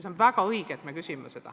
Ja on väga õige, et me seda küsime.